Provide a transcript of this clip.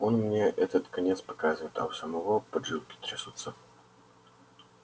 он мне этот конец показывает а у самого поджилки трясутся